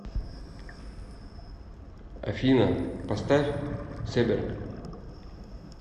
афина поставь себерг